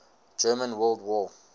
german world war